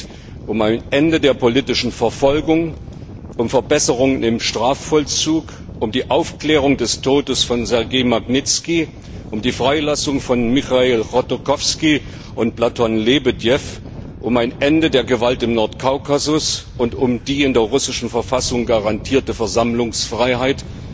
Es geht um ein Ende der politischen Verfolgung, um Verbesserungen im Strafvollzug, um die Aufklärung des Todes von Sergej Magnizki, um die Freilassung von Michail Chodorkowski und Platon Lebedew, um ein Ende der Gewalt im Nordkaukasus und um die in der russischen Verfassung garantierte Versammlungsfreiheit.